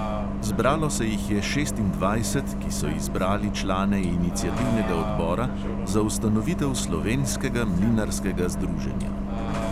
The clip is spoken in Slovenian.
Zbralo se jih je šestindvajset, ki so izbrali člane iniciativnega odbora za ustanovitev slovenskega mlinarskega združenja.